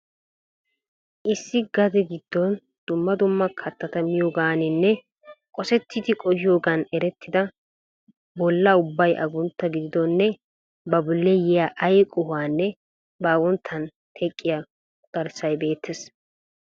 Issi gade gidon dumma dumma kattata miyoganinne qosettidi qohiyoogaan erettida bolla ubbay aguntta gididonne ba bolli yiyaa ay qohuwaanne ba agunnttan teqqiya quxxarissay beettees.